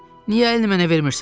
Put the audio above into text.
niyə əlini mənə vermirsən?